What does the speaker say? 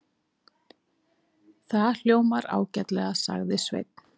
Það hljómar ágætlega, sagði Sveinn.